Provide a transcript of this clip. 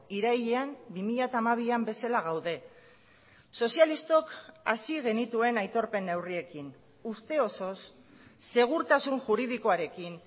irailean bi mila hamabian bezala gaude sozialistok hasi genituen aitorpen neurriekin uste osoz segurtasun juridikoarekin